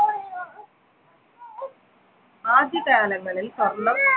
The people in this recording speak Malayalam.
ആദ്യകാലങ്ങളിൽ സ്വർണം